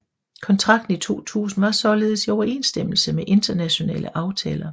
Kontrakten i 2000 var således i overensstemmelse med internationale aftaler